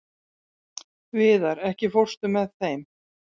Víðar, ekki fórstu með þeim?